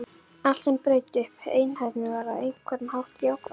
Allt sem braut upp einhæfnina var á einhvern hátt jákvætt.